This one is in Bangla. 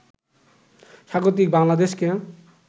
স্বাগতিক বাংলাদেশকে